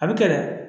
A bɛ kɛ dɛ